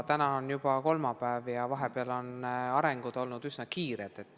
Täna on aga juba kolmapäev ja vahepeal on asjad üsna kiiresti edasi arenenud.